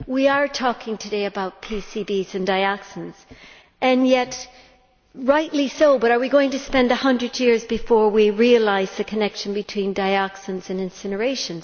We are talking today about PCBs and dioxins and rightly so, but are we going to spend 100 years before we realise the connection between dioxins and incineration?